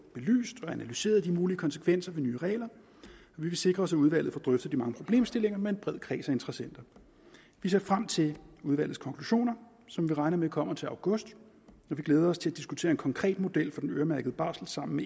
belyst og analyseret de mulige konsekvenser af nye regler og vi vil sikre os at udvalget får drøftet de mange problemstillinger med en bred kreds af interessenter vi ser frem til udvalgets konklusioner som vi regner med kommer til august og vi glæder os til at diskutere en konkret model for den øremærkede barsel sammen